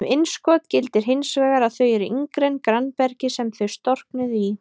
Um innskot gildir hins vegar að þau eru yngri en grannbergið sem þau storknuðu í.